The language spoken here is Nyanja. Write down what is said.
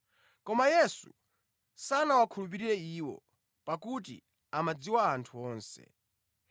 Koma Yesu sanawakhulupirire iwo, pakuti amadziwa anthu onse.